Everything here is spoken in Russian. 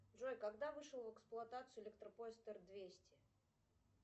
джой когда вышел в эксплуатацию электропоезд эр двести